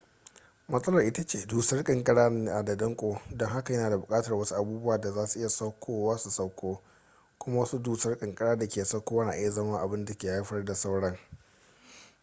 matsalar ita ce dusar ƙanƙara na da danko don haka yana buƙatar wasu abubuwan da za su iya saukowa su sauko kuma wasu dusar ƙanƙara da ke saukowa na iya zama abin da ke haifar da sauran